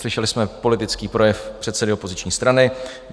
Slyšeli jsme politický projev předsedy opoziční strany.